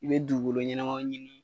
U be dugukolo ɲɛnɛmaw ɲini